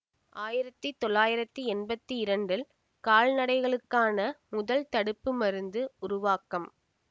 ஆயிரத்தி தொள்ளாயிரத்தி எம்பத்தி இரண்டில் கால்நடைகளுக்கான முதல் தடுப்பு மருந்து உருவாக்கம்